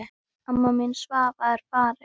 Amma mín Svava er farin.